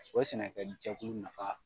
O sɛnɛkɛjɛkulu nafa